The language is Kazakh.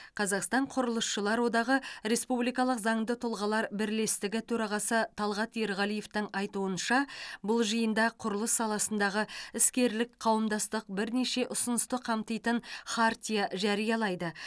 қазақстан құрылысшылар одағы республикалық заңды тұлғалар бірлестігі төрағасы талғат ерғалиевтің айтуынша бұл жиында құрылыс саласындағы іскерлік қауымдастық бірнеше ұсынысты қамтитын хартия жариялайды